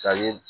Ka ye